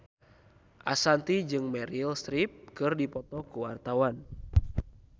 Ashanti jeung Meryl Streep keur dipoto ku wartawan